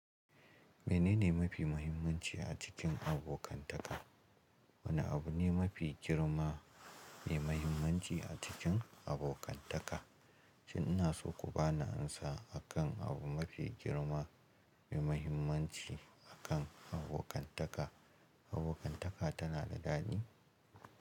Menene mafi muhimmanci a cikin abokantaka? Wane abu ne mafi girma mai mahimmanci a cikin abokantaka? Shin ina so ku ba ni amsa akan abu mafi girma mai mahimmanci akan abokantaka. Abokantaka tana da daɗi?